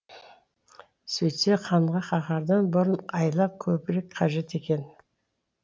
сөйтсе ханға қаһардан бұрын айла көбірек қажет екен